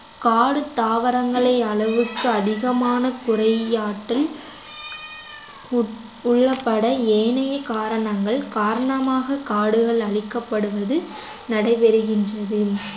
காடு தாவரங்களை அளவுக்கு அதிகமான குறையாற்றல் உட்~ உள்ளப்பட ஏனைய காரணங்கள் காரணமாக காடுகள் அழிக்கப்படுவது நடைபெறுகின்றது